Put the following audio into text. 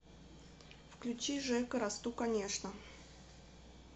включи жека расту конечно